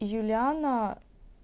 юлиана